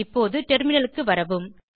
இப்போது டெர்மினலுக்கு வரவும்